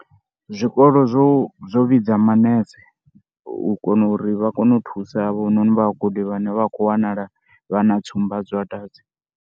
Zwikolo zwo zwo vhidza manese u kona uri vha kone u thusa havhanoni vhagudi vhane vha khou wanala vha na tsumba dza dwadze.